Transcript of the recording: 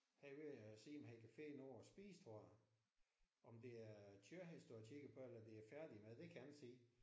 Han er ved at se om han kan finde noget at spise tror jeg. Om det er kød han står og kigger på eller om det er færdig mad det kan jeg ikke se